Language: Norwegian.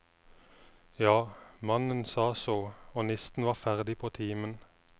Ja, mannen sa så, og nisten var ferdig på timen.